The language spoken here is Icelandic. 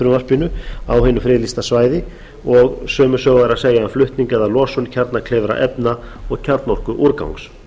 frumvarpinu á hinu friðlýsta svæði og sömu sögu er að segja um flutning eða losun kjarnakleyfra efna og kjarnorkuúrgangs